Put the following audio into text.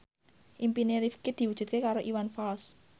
impine Rifqi diwujudke karo Iwan Fals